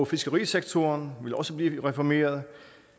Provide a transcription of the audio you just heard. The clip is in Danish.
fiskerisektoren vil også blive reformeret